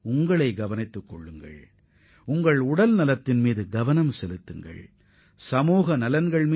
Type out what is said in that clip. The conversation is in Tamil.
நீங்கள் அனைவரும் உங்களது நலனில் கவனம் செலுத்துமாறு கேட்டுக்கொள்கிறேன்